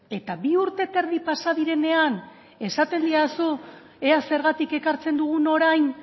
eta bi urte eta erdi pasa direnean esaten didazu ea zergatik ekartzen dugun orain